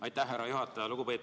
Aitäh, härra juhataja!